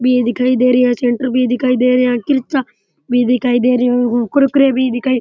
भी दिखाई दे रही है सेंटर भी दिखाई दे रही है किरचा भी दिखाई दे रही है कुरकुरे भी दिखाई --